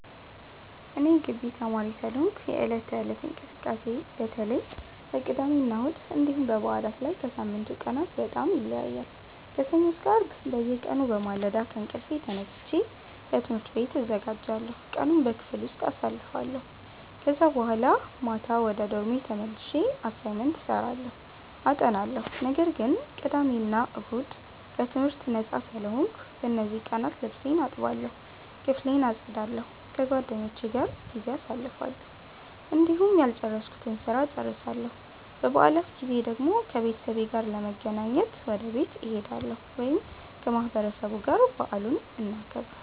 እኔ የጊቢ ተማሪ ስለሆንኩ የዕለት ተዕለት እንቅስቃሴዬ በተለይ በቅዳሜና እሁድ እንዲሁም በበዓላት ላይ ከሳምንቱ ቀናት በጣም ይለያያል። ከሰኞ እስከ አርብ በየቀኑ በማለዳ ከእንቅልፌ ተነስቼ ለትምህርት ቤት እዘጋጃለሁ፣ ቀኑን በክፍል ውስጥ አሳልፋለሁ ከዛ በኋላ ማታ ወደ ዶርሜ ተመልሼ አሳይመንት እሰራለሁ አጠናለሁ። ነገር ግን ቅዳሜ እና እሁድ ከትምህርት ነጻ ስለሆንኩ፣ በእነዚህ ቀናት ልብሴን እጠባለሁ፣ ክፍሌን አጸዳለሁ፣ ከጓደኞቼ ጋር ጊዜ አሳልፋለሁ፣ እንዲሁም ያልጨረስኩትን ስራ እጨርሳለሁ። በበዓላት ጊዜ ደግሞ ከቤተሰቤ ጋር ለመገናኘት ወደ ቤት እሄዳለሁ ወይም ከማህበረሰቡ ጋር በዓሉን እናከብራለን።